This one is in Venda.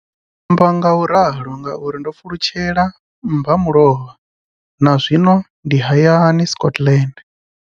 Ndi amba ngauralo nga uri ndo pfulutshela mmba mulovha na zwino ndi hayani, Scotland.